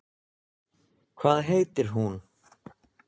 Hvað heitir hún?